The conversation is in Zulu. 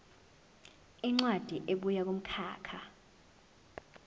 incwadi ebuya kumkhakha